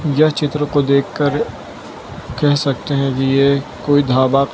यह चित्र को देखकर कह सकते है कि ये कोई ढाबा --